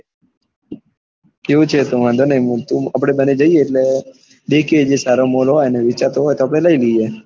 કેવું છે એતો વાંધો નઇ આપડે બંને જી એટલે દેખિયે જે mall હોય અને વેચાતો હોય તો આપડે લઇ લઈએ.